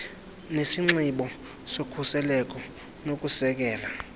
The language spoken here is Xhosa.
nesinxibo sokhuseleko nokusekela